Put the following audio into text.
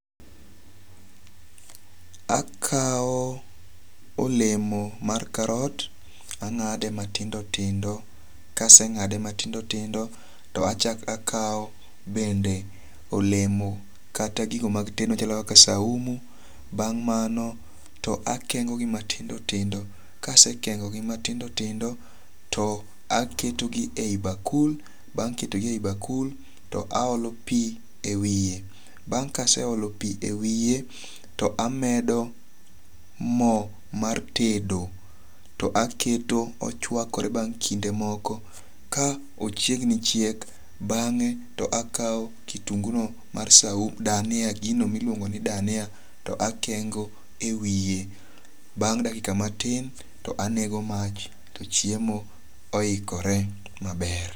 Akaw olemo mar karot ang'ade matindo tindo. Kaseng'ade matindo tindo, to achak akaw bende olemo kata gigo mag tedo machalo kaka saumu. Bang' mano to akengo gi matindo tindo. Kasekengo gi matindo tindo to aketo gi e yi bakul. Bang' keto gi e yi bakul to aolo pi e wiye. Bang' kase olo pi e wiye to amedo mo mar tedo to aketo ochwakore bang' kinde moko ka ochiegni chiek bang'e to akaw kitungu no mar saumu dania gino miluongo ni dania to akengo e wiye. Bang' dakika matin to anego mach to chiemo oikore maber.